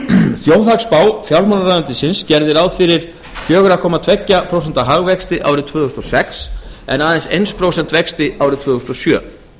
þjóðhagsspá fjármálaráðuneytisins gerði ráð fyrir fjóra komma tveggja prósenta hagvexti árið tvö þúsund og sex en aðeins eitt prósent vexti árið tvö þúsund og sjö